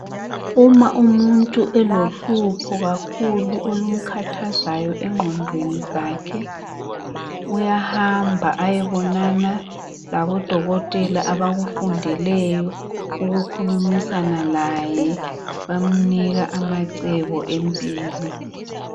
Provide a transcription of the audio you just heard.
uma umuntu elohlupho kakhulu olumkhathazayo enqondweni zakhe uyahamba eyeboinana labo dokotela abakufundeleyo ukukhulumisana laye bemnika amacebo empilo